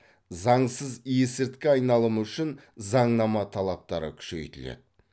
заңсыз есірткі айналымы үшін заңнама талаптары күшейтіледі